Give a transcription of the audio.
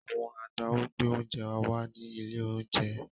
Àwọn agbáwo gbé oúnjẹ wa wá ní ilé-oúnjẹ.